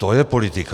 To je politika.